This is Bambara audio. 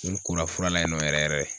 N ko la fura la yen nɔ yɛrɛ yɛrɛ